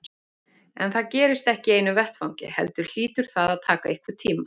En það gerist ekki í einu vetfangi heldur hlýtur það að taka einhvern tíma.